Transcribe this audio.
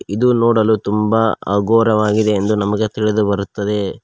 ಇದು ನೋಡಲು ತುಂಬ ಅಘೋರವಾಗಿದೆ ಎಂದು ನಮಗೆ ತಿಳಿದು ಬರುತ್ತದೆ.